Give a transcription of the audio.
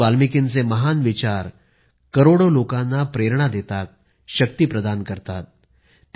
महर्षी वाल्मिकींचे महान विचार करोडो लोकांना प्रेरणा देतात शक्ती प्रदान करतात